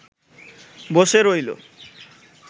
বসে রইল